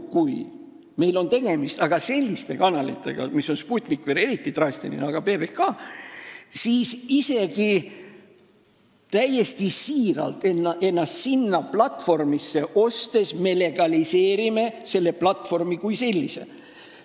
Kui meil on tegemist selliste kanalitega – Sputnik on veel eriti drastiline näide, aga ka PBK –, siis isegi juhul, kui me täiesti siiralt ostame ennast sinna platvormile, siis me legaliseerime selle platvormi kui sellise.